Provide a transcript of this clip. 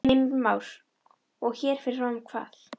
Heimir Már: Og hér fer fram hvað?